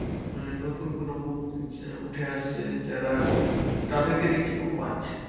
মানে নতুন কোনো মুখ উঠে আসছে যারা তাদেরকে দেখছি খুব বাজছে।